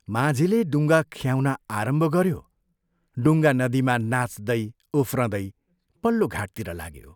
माझीले डुङ्गा ख्याउन आरम्भ गऱ्यो डुङ्गा नदीमा नाच्दै उफ्रदै पल्लो घाटतिर लाग्यो।